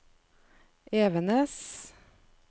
Evenes